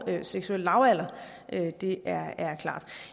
er den seksuelle lavalder det er klart